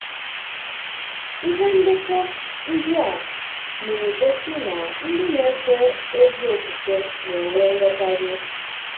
Ìhé ndekọ̀ ndị a na-egosí na ndị na-èfé ezi ofufe na-enwè nghọtàhìe.